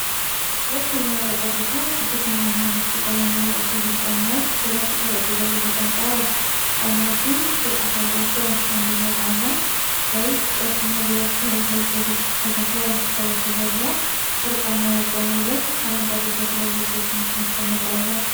ሁለት የሚያብረቀርቁ፣ ብርቱካናማ ነጭ ቀለም ያላቸው ሂል ጫማዎች በነጭ ጠረጴዛ ላይ ተቀምጠዋል። ጫማዎቹ ሹል አፍ አላቸው፣ አንደኛው ጫማ ላይ ቀጭን የብረት ተረከዝ በግልፅ ተተክሏል፣ ከበስተጀርባ በወርቃማ መቆሚያ ላይ አረንጓዴ ተክል ያለበት ትንሽ ማስቀመጫ አለ።